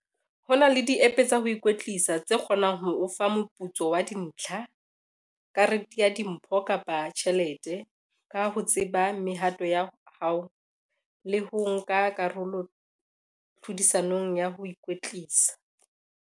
Ho na le di-app tsa ho ikwetlisa tse kgonang ho o fa moputso wa dintlha, karete ya dimpho kapa tjhelete, ka ho tseba mehato ya hao le ho nka karolo tlhodisanong ya ho ikwetlisa.